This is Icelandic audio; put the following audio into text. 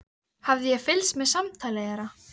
Hafði ég fylgst með samtali þeirra?